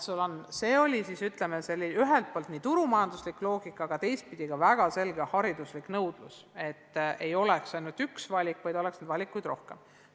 Selle põhjus oli ühelt poolt turumajanduslik loogika, aga teiselt poolt oli ka väga selge hariduslik nõudlus, et ei oleks ainult üks valik, vaid valikuid oleks rohkem.